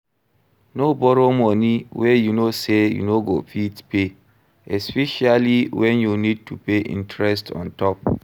No borrow money wey you know sey you no go fit pay, especiallly when you need to pay interest ontop